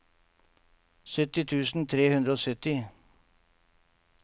sytti tusen tre hundre og sytti